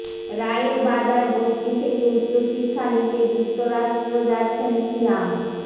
রায়ের বাজার বস্তি থেকে উচ্চশিক্ষা নিতে যুক্তরাষ্ট্র যাচ্ছেন সিয়াম